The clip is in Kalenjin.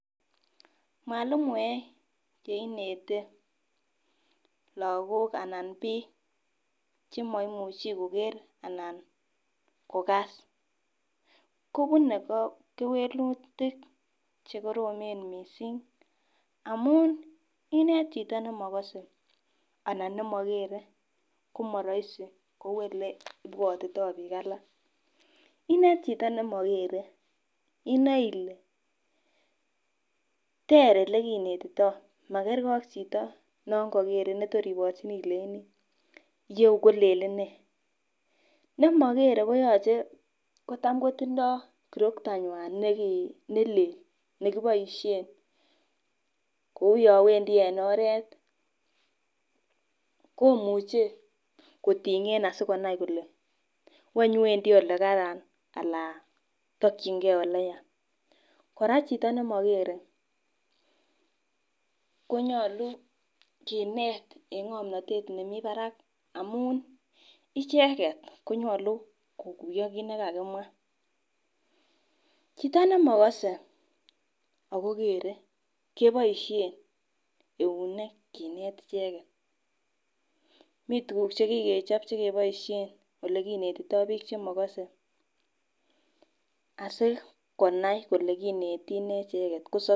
Mwalimoek cheinete lakok ana ko piik chimaimuchi koker anan ko kass kopunei kewelitik chekoromen mising amu inet chito nimakase anan nemakere komaraisi kou oleipwotitoi piik alak inet chito nimakere inae ile ter olekinetitoi makerkei ak chito no kakerei netokoi iporchini ileini yeu kolelen ne nemakere koyochei cham kotindoi kirokto ng'wan nelel nekiaboishe kouyo wendi eng oret komuchei kotinge asikonai kole wonywendi olekaran alan tokchinke ole ya kora chito nemakere konyolu kinet eng ng'omnotet nemi Barak amun icheket konyolu kokuyo kiit nikakimwa chito nimokose akokerei keboishe eunek kinet icheket mitukuk chikikechop chekeboishe olekinetitoi piik chemakase asikonai kole kineti ne icheket